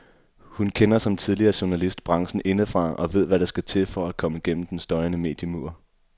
Hun kender, som tidligere journalist, branchen indefra og ved hvad der skal til for at komme gennem den støjende mediemur.